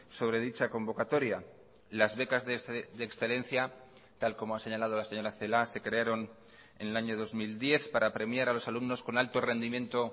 sobre dicha convocatoria las becas de excelencia tal como ha señalado la señora celaá se crearon en el año dos mil diez para premiar a los alumnos con alto rendimiento